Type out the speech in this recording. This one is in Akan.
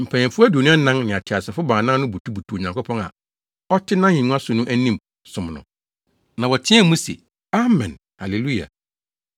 Mpanyimfo aduonu anan ne ateasefo baanan no butubutuu Onyankopɔn a ɔte nʼahengua so no anim som no. Na wɔteɛɛ mu se, “Amen, Haleluya!”